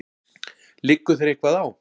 Liggur þér eitthvað á?